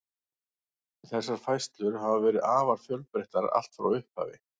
Þessar færslur hafa verið afar fjölbreyttar allt frá upphafi.